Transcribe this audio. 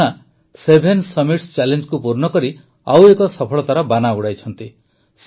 Purna seven summits ଚ୍ୟାଲେଞ୍ଜ୍କୁ ପୂର୍ଣ୍ଣ କରି ଆଉ ଏକ ସଫଳତାର ବାନା ଉଡ଼ାଇଛନ୍ତି